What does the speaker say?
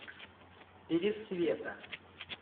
пересвета